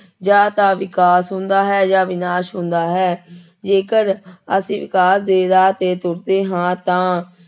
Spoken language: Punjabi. ਜਾਂ ਤਾਂ ਵਿਕਾਸ ਹੁੰਦਾ ਹੈ ਜਾਂ ਵਿਨਾਸ ਹੁੰਦਾ ਹੈ ਜੇਕਰ ਅਸੀਂ ਵਿਕਾਸ ਦੇ ਰਾਹ ਤੇ ਤੁਰਦੇ ਹਾਂ ਤਾਂ